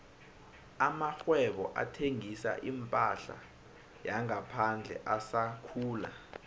amakghwebo athengisa iphahla yangaphandle asakhula